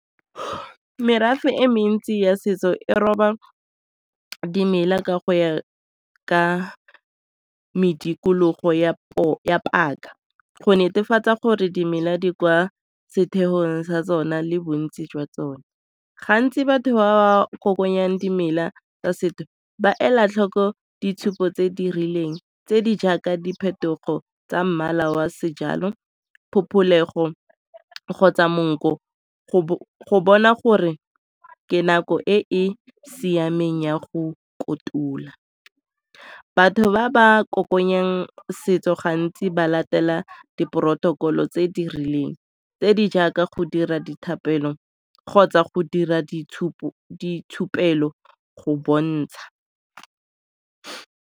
Merafe e mentsi ya setso e roba dimela ka go ya ka medikologo ya paka go netefatsa gore dimela di kwa setheong sa tsona le bontsi jwa tsone. Gantsi batho ba ba kokoanyang dimela tsa setho ba ela tlhoko ditshupo tse di rileng tse di jaaka diphetogo tsa mmala wa sejalo, phopholego kgotsa monkgo, go bona gore ke nako e e siameng ya go kotula. Batho ba ba kokoanyang setso gantsi ba latela di porotokolo tse di rileng tse di jaaka go dira dithapelo kgotsa go dira go bontsha.